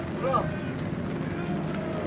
bilgisayaralar var yanında.